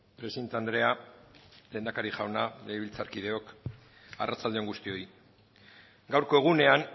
presidente andrea lehendakari jauna legebiltzarkideok arratsalde on guztioi gaurko egunean